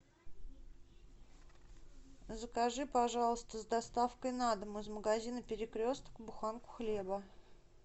закажи пожалуйста с доставкой на дом из магазина перекресток буханку хлеба